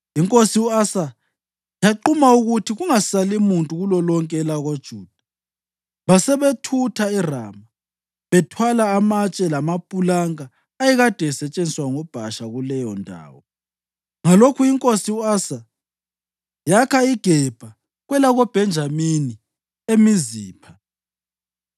Inkosi u-Asa yaquma ukuthi kungasali muntu kulolonke elakoJuda. Basebethutha eRama bethwala amatshe lamapulanka ayekade esetshenziswa nguBhasha kuleyondawo. Ngalokho inkosi u-Asa yakha iGebha kwelakoBhenjamini, leMizipha.